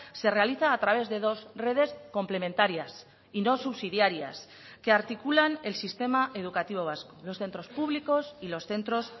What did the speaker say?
se realiza a través de dos redes complementarias y no subsidiarias que articulan el sistema educativo vasco los centros públicos y los centros